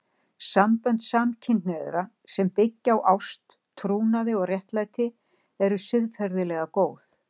Sambönd samkynhneigðra sem byggja á ást, trúnaði og réttlæti eru siðferðilega góð.